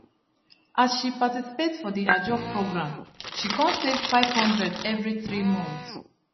as she participate for the ajo program she kon save 500 every three month